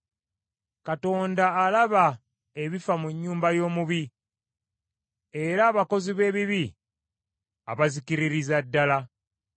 Katonda alaba ebifa mu nnyumba y’omubi, era abakozi b’ebibi abazikkiririza ddala.